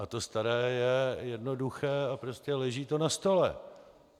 A to staré je jednoduché a prostě leží to na stole.